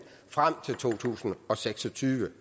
frem til to tusind og seks og tyve